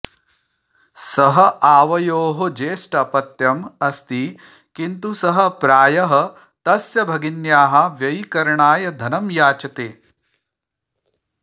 सः आवयोः ज्येष्ठः अपत्यम् अस्ति किन्तु सः प्रायः तस्य भगिन्याः व्ययीकरणाय धनं याचते